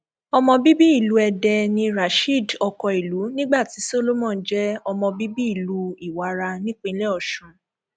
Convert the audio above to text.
ọmọ bíbí ìlú èdè ní rasheed okoìlú nígbà tí solomon jẹ ọmọ bíbí ìlú ìwára nípínlẹ ọsùn